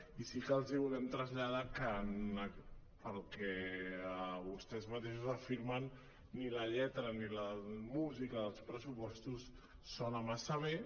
i sí que els volem traslladar que pel que vostès mateixos afirmen ni la lletra ni la música dels pressupostos sona massa bé